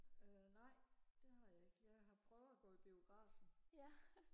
øh nej det har jeg ikke jeg har prøver og gå i biografen